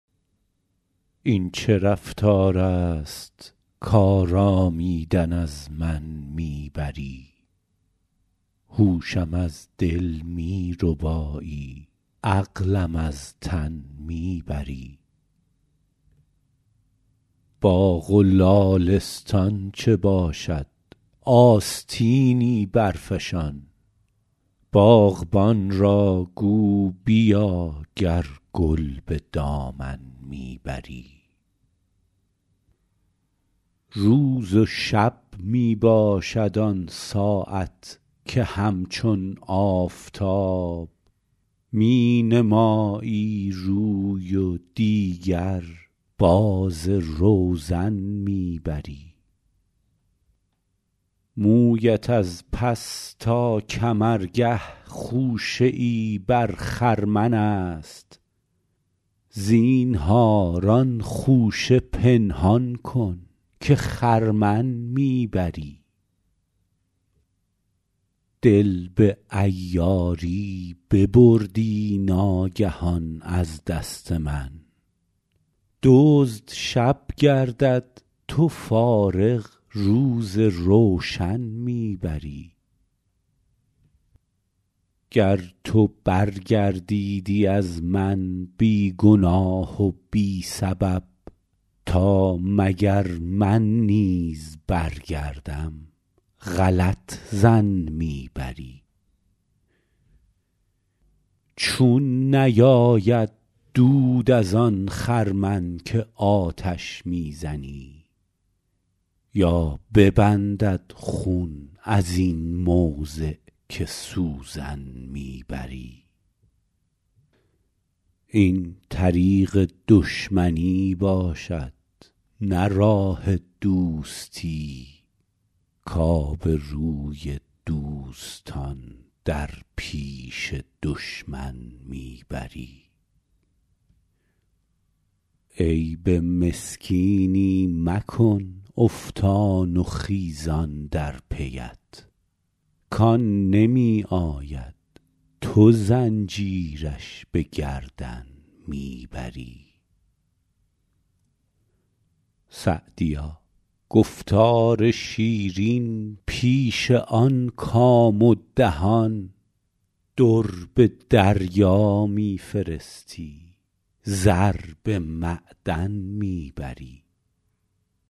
این چه رفتار است کآرامیدن از من می بری هوشم از دل می ربایی عقلم از تن می بری باغ و لالستان چه باشد آستینی برفشان باغبان را گو بیا گر گل به دامن می بری روز و شب می باشد آن ساعت که همچون آفتاب می نمایی روی و دیگر باز روزن می بری مویت از پس تا کمرگه خوشه ای بر خرمن است زینهار آن خوشه پنهان کن که خرمن می بری دل به عیاری ببردی ناگهان از دست من دزد شب گردد تو فارغ روز روشن می بری گر تو برگردیدی از من بی گناه و بی سبب تا مگر من نیز برگردم غلط ظن می بری چون نیاید دود از آن خرمن که آتش می زنی یا ببندد خون از این موضع که سوزن می بری این طریق دشمنی باشد نه راه دوستی کآبروی دوستان در پیش دشمن می بری عیب مسکینی مکن افتان و خیزان در پی ات کآن نمی آید تو زنجیرش به گردن می بری سعدیا گفتار شیرین پیش آن کام و دهان در به دریا می فرستی زر به معدن می بری